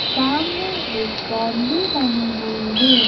सामने एक बाउंड्री बनी हुई है।